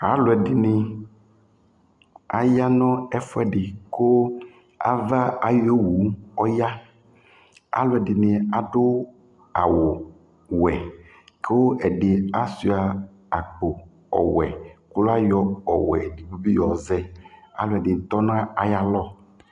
Alʋ ɛdɩnɩ aya nʋ ɛfʋɛdɩ kʋ ava ayʋ owu ɔya Alʋ ɛdɩnɩ adʋ awʋwɛ kʋ ɛdɩ asʋɩa akpo ɔwɛ kʋ ayɔ ɔwɛ edigbo bɩ yɔzɛ Alʋ ɛdɩnɩ tɔ nʋ ayalɔ